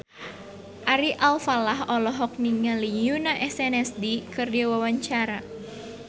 Ari Alfalah olohok ningali Yoona SNSD keur diwawancara